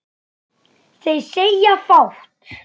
Þeir segja fátt